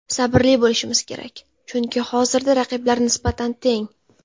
Sabrli bo‘lishmiz kerak, chunki hozirda raqiblar nisbatan teng.